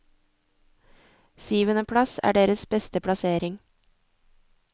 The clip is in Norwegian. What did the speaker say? Syvende plass er deres beste plassering.